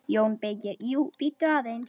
JÓN BEYKIR: Jú, bíddu aðeins!